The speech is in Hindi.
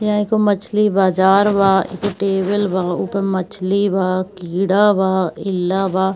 यह एगो मछली बाजार बा एगो टेबल बा उपे मछली बा कीड़ा बा इल्ला बा।